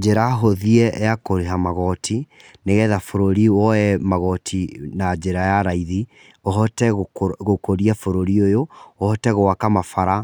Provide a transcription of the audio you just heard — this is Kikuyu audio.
Njĩra hũthie ya kũrĩha magoti, nĩ getha bũrũri woye magoti na njĩra ya raithi, ũhote gũkũria bũrũri ũyũ, ũhote gwaka mabara,